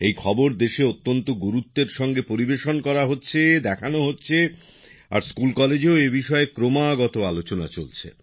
এই খবর দেশে অত্যন্ত গুরুত্বের সঙ্গে পরিবেশন করা হচ্ছে দেখানো হচ্ছে আর স্কুলকলেজেও এ বিষয়ে ক্রমাগত আলোচনা চলছে